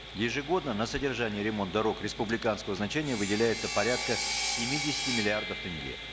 ежегодно на содержание ремонт дорог республиканского значения выделяется порядка семидесяти миллиардов тенге